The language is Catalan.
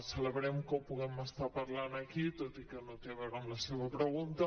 celebrem que ho puguem estar parlant aquí tot i que no té a veure amb la seva pregunta